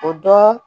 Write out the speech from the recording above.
O dɔn